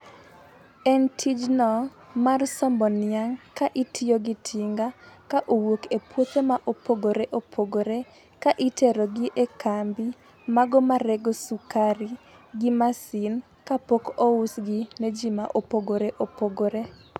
En tijno, mar sombo niang' ka itiyogi tinga ka owuok e puothe mopogoreopogore , ka iterogi e kambi, mago marego sukari gi masin, ka pok ousgi ne ji ma opogoreopogore.